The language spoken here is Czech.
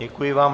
Děkuji vám.